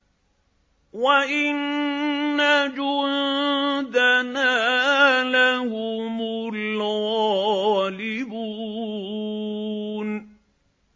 وَإِنَّ جُندَنَا لَهُمُ الْغَالِبُونَ